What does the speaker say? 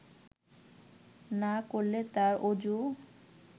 না করলে তার অযু